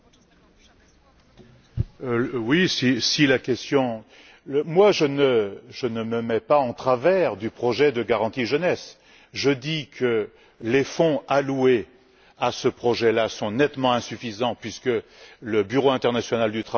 Je ne me mets pas en travers du projet de garantie jeunesse. Je dis que les fonds alloués à ce projet sont nettement insuffisants puisque le Bureau international du travail chiffre les besoins à 21milliards Monsieur le Commissaire, je crois que vous en êtes à 6milliards.